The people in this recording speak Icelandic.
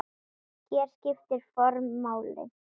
Hér skiptir form máli.